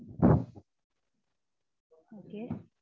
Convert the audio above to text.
okay